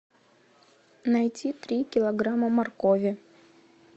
найти три килограмма моркови